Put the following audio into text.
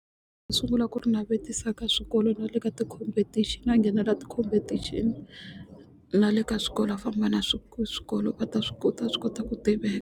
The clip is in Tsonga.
Sungula ku ri navetisa ka swikolo na le ka ti-competition a nghenela ti-competition na le ka swikolo a famba na swi swikolo va ta swi kota a swi kota ku tiveka.